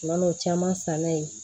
N'o caman san na ye